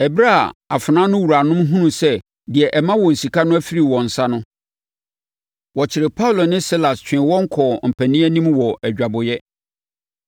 Ɛberɛ a afenaa no wuranom hunuu sɛ deɛ ɛma wɔn sika no afiri wɔn nsa no, wɔkyeree Paulo ne Silas twee wɔn kɔɔ mpanin anim wɔ adwabɔeɛ.